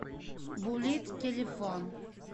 буллит телефон